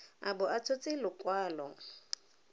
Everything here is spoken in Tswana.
a bo a tshotse lekwalo